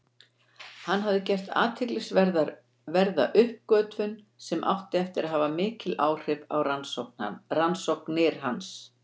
Hann hafði gert athyglisverða uppgötvun sem átti eftir að hafa mikil áhrif á rannsóknir hans.